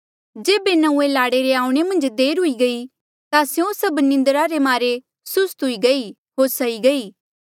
जेबे नंऊँऐं लाड़े रे आऊणें मन्झ देर हुई गई ता स्यों सभ निंद्रा रे मारे सुस्त हुई गई होर सई गई